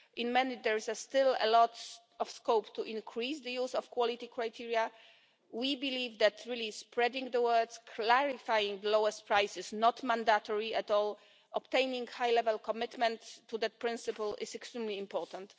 In many there is still a lot of scope to increase the use of quality criteria. We believe that spreading the word that clarifying the lowest price is not mandatory at all, and obtaining high-level commitment to that principle is extremely important.